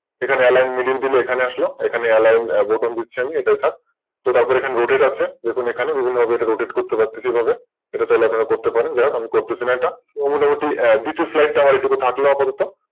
এখানে Alline middle দিলে Middle চলে আসলো এখানে Alline bottom দিচ্ছি আমি তারপর এখানে Dotated এখানে বিভিন্ন রকম হবে Rotated করতে পারতেছি। এটা চাইলে আপনার করতে পারেন আমি করছি না এটা মোটামুটি দুটো Slide থাকলো এটা আমার আপাতত